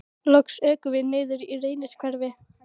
Loks ökum við niður í Reynishverfi.